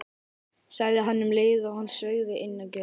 sagði hann um leið og hann sveigði inn í götuna.